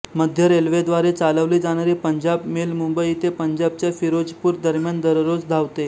मध्य रेल्वेद्वारे चालवली जाणारी पंजाब मेल मुंबई ते पंजाबच्या फिरोजपूर दरम्यान दररोज धावते